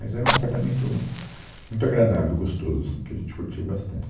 Mas era um apartamento muito agradável, gostoso, assim que a gente curtiu bastante.